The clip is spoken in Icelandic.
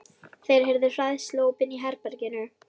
Þeir heyrðu hræðsluóp inni í herberginu.